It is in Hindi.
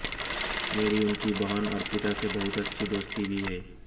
मेरी उनकी बहन अर्पिता से बहुत अच्छी दोस्ती भी है